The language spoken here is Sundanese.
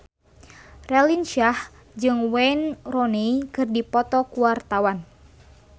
Raline Shah jeung Wayne Rooney keur dipoto ku wartawan